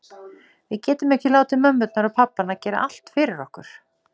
Við getum ekki látið mömmurnar og pabbana gera allt fyrir okkur.